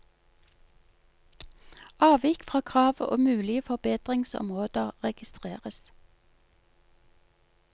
Avvik fra krav og mulige forbedringsområder registreres.